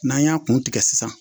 N'an y'a kun tigɛ sisan